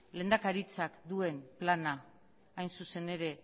lehendakaritzak duen planak hain zuzen ere